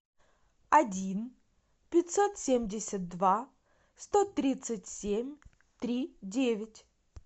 один пятьсот семьдесят два сто тридцать семь три девять